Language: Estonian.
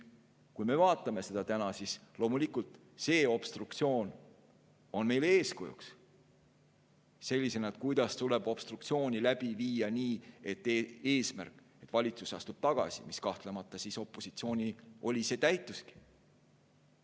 Kui me vaatame seda täna, siis loomulikult see obstruktsioon on meile eeskujuks selles mõttes, kuidas obstruktsiooni läbi viia nii, et eesmärk, et valitsus astub tagasi, mis kahtlemata opositsioonil oli, täitukski.